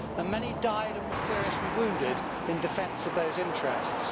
Many died and were seriously wounded in defence of those interests.